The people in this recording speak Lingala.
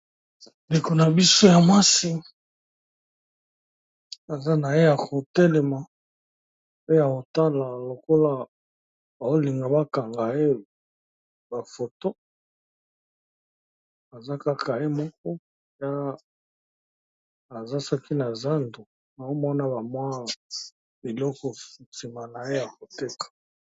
Ndeko na biso ya masi aza na ye ya kotelema pe ya otala lokola olinga bakanga ye bafoto eza kaka ye moko ya azasaki na zando na omona bamwa biloko nsima na ye ya koteka.